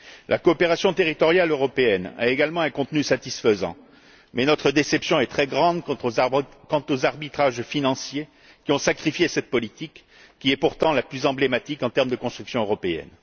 La coopération territoriale européenne a également un contenu satisfaisant, mais notre déception est très grande quant aux arbitrages financiers qui ont sacrifié cette politique, pourtant la plus emblématique en termes de construction européenne.